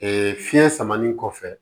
fiɲɛ samalen kɔfɛ